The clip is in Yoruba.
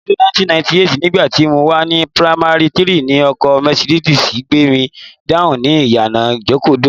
Ọdún 1998, nígbà tí mo wà ní pamari 3, ni ọkọ Mercedes gbé mi hánu ni ìyànà Ìjokòdó